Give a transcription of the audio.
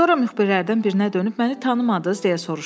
Sonra müxbirlərdən birinə dönüb məni tanımadız deyə soruşdu.